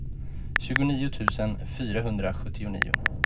tjugonio tusen fyrahundrasjuttionio